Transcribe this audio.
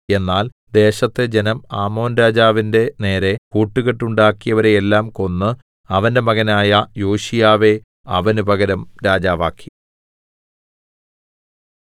എന്നാൽ ദേശത്തെ ജനം ആമോൻ രാജാവിന്റെ നേരെ കൂട്ടുകെട്ടുണ്ടാക്കിയവരെയെല്ലാം കൊന്ന് അവന്റെ മകനായ യോശീയാവെ അവന് പകരം രാജാവാക്കി